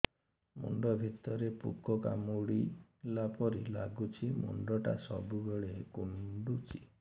ମୁଣ୍ଡ ଭିତରେ ପୁକ କାମୁଡ଼ିଲା ପରି ଲାଗୁଛି ମୁଣ୍ଡ ଟା ସବୁବେଳେ କୁଣ୍ଡୁଚି